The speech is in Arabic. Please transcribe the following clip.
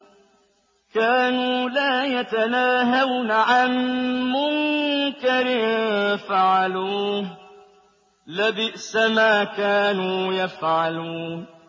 كَانُوا لَا يَتَنَاهَوْنَ عَن مُّنكَرٍ فَعَلُوهُ ۚ لَبِئْسَ مَا كَانُوا يَفْعَلُونَ